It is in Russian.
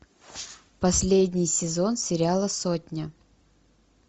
последний сезон сериала сотня